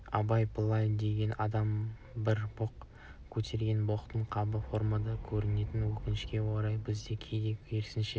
абай былай деген адам бір боқ көтерген боқтың қабы формада көрінеді өкінішке орай бізде кейде керісінше